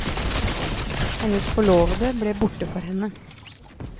Hennes forlovede ble borte for henne.